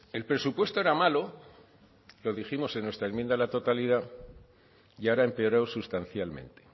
el presupuesto era malo lo dijimos en nuestra enmienda a la totalidad y ahora ha empeorado sustancialmente